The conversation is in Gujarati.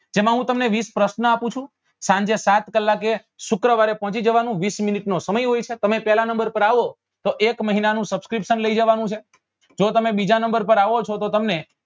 જેમાં હું તમને વીસ પ્રશ્નો આપું છું સાંજે સાત કલાકે શુક્રવારે પહોંચી જવાનું વીસ minute નો સમય હોય છે તમે પહેલા નંબર પર આવો તો એક મહિના નું subscription લઇ જવા નું છે જો તમે બીજા નંબર પર આવો છો તો તમને